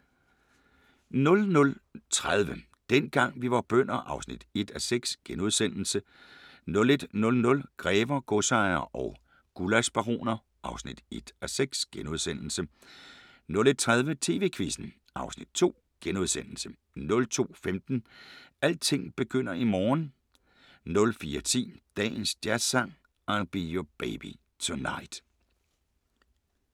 00:30: Dengang vi var bønder (1:6)* 01:00: Grever, godsejere og gullaschbaroner (1:6)* 01:30: TV-Quizzen (Afs. 2)* 02:15: Alting begynder i morgen 04:10: Dagens Jazzsang: I'll Be Your Baby Tonight *